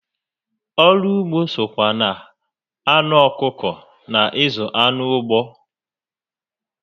Ọrụ ugbo sokwa na anụ ọkụkọ na ịzụ anụ ụgbọ